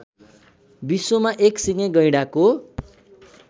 विश्वमा एकसिङे गैंडाको